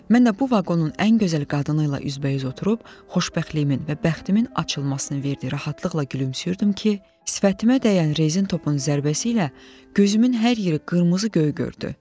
Mən də bu vaqonun ən gözəl qadını ilə üzbəüz oturub xoşbəxtliyimin və bəxtimin açılmasını verdiyi rahatlıqla gülümsüyürdüm ki, sifətimə dəyən rezin topun zərbəsi ilə gözümün hər yeri qırmızı göy gördü.